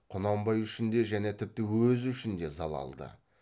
құнанбай үшін де және тіпті өзі үшін де залалды